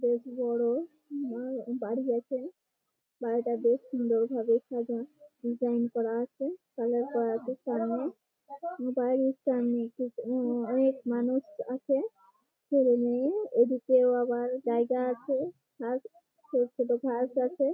বেশ বড়ও বা বাড়ি আছে বাড়িটা বেশ সুন্দর ভাবে সাজা ডিসাইন করা আছে কালার করা আছে সামনে বাড়ির সামনে উঁ উঁ অনেক মানুষ আছে আর এমনি এদিকেও আবার জায়গা আছে ঘাস ছোট ছোট ঘাস আছে।